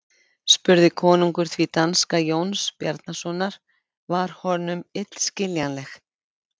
spurði konungur því danska Jóns Bjarnasonar var honum illskiljanleg.